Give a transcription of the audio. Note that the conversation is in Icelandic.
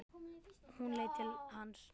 Hún leit til hans.